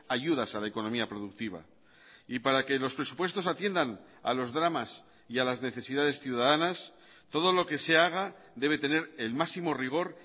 ayudas a la economía productiva y para que los presupuestos atiendan a los dramas y a las necesidades ciudadanas todo lo que se haga debe tener el máximo rigor